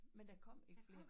Men der kom ik flere